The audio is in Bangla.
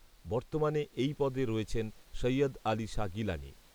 বর্তমানে এই পদে রয়েছেন সৈয়দ আলি শাহ গিলানি